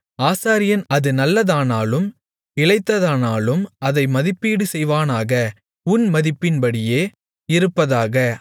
ஆசாரியன் அது நல்லதானாலும் இளைத்ததானாலும் அதை மதிப்பீடு செய்வானாக உன் மதிப்பின்படியே இருப்பதாக